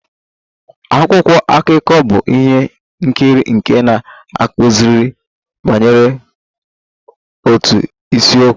Akwụkwọ akụkọ bụ ihe nkiri nke na-akụziri banyere otu isiokwu.